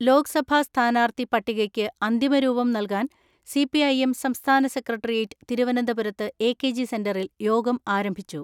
ലോക്സഭാ സ്ഥാനാർത്ഥി പട്ടികയ്ക്ക് അന്തിമരൂപം നൽകാൻ സി പി ഐ എം സംസ്ഥാന സെക്രട്ടേറിയറ്റ് തിരു വനന്തപുരത്ത് എ കെ ജി സെന്ററിൽ യോഗം ആരംഭിച്ചു.